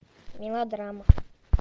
мелодрама